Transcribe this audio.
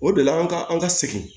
O de la an ka an ka segin